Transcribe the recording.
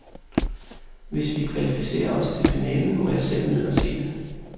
Hvis vi kvalificerer os til finalen, må jeg selv ned og se det.